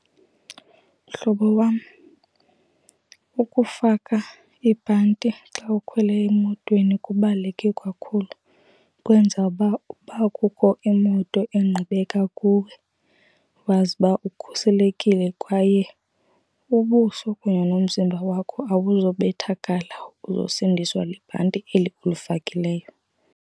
Mhlobo wam, ukufaka ibhanti xa ukhwele emotweni kubaluleke kakhulu. Kwenza uba ukuba kukho imoto engqubeka kuwe wazi uba ukhuselekile kwaye ubuso kunye nomzimba wakho awuzubethakala, uzosindiswa libhanti eli ulifakileyo.